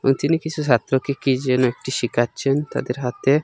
তিনি কিছু ছাত্রকে কী যেন একটি শিখাচ্ছেন তাদের হাতে--